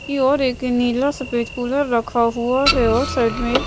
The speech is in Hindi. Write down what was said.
योर एक नीला सफेद कूलर रखा हुआ है और साइड में ए--